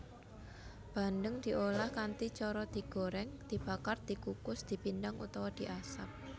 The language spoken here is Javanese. Bandeng diolah kanthi cara digorèng dibakar dikukus dipindang utawa diasap